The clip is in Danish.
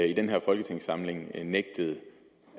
i den her folketingssamling nægtede